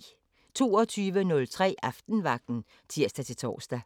22:03: Aftenvagten (tir-tor)